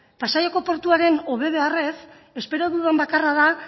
pasaiako portuaren hobe beharrez espero dudan bakarra da